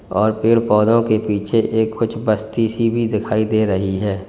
और पेड़ पौधों के पीछे एक कुछ बस्ती सी भी दिखाई दे रही है।